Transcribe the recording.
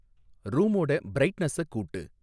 ரூமோட பிரைட்னஸை கூட்டு